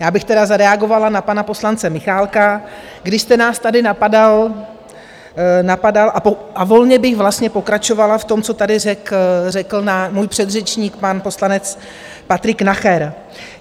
Já bych tedy zareagovala na pana poslance Michálka, když jste nás tady napadal, a volně bych vlastně pokračovala v tom, co tady řekl můj předřečník, pan poslanec Patrik Nacher.